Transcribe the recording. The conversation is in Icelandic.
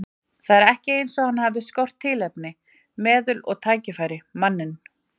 Það er ekki eins og hann hafi skort tilefni, meðul og tækifæri, manninn.